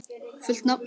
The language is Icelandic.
Fullt nafn?